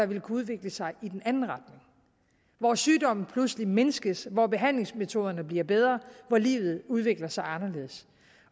vil kunne udvikle sig i den anden retning hvor sygdommen pludselig mindskes hvor behandlingsmetoderne bliver bedre hvor livet udvikler sig anderledes